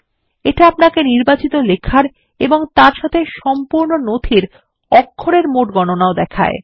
এটা আপনাকে নির্বাচিত লেখার এবং তার সাথে সম্পূর্ণ নথির অক্ষরের মোট গণনাও দেখায়